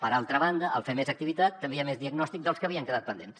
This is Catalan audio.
per altra banda al fer més activitat també hi ha més diagnòstic dels que havien quedat pendents